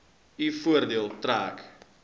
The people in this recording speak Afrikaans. u voordeel trek